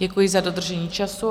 Děkuji za dodržení času.